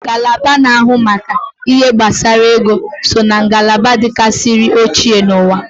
Ngalaba na ahụ maka ihe gbasara ego so ná ngalaba dikarisiri ochie n'uwa